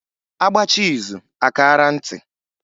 A gbachaa izu a kaara ntị.